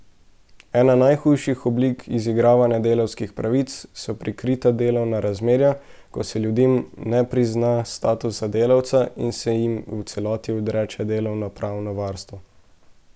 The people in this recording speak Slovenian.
Ena najhujših oblik izigravanja delavskih pravic so prikrita delovna razmerja, ko se ljudem ne prizna status delavca in se jim v celoti odreče delovnopravno varstvo.